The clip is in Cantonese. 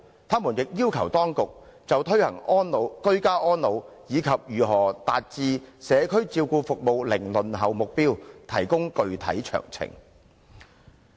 他們亦要求當局，就推行居家安老，以及如何達致社區照顧服務零輪候目標，提供具體詳情。